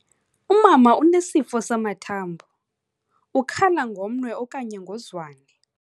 Umama unesifo samathambo, ukhala ngomnwe okanye ngozwane.